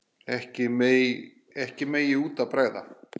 Ekkert megi út af bregða.